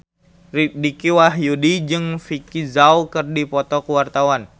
Dicky Wahyudi jeung Vicki Zao keur dipoto ku wartawan